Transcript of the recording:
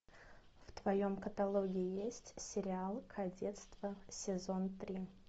в твоем каталоге есть сериал кадетство сезон три